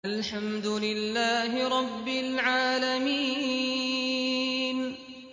الْحَمْدُ لِلَّهِ رَبِّ الْعَالَمِينَ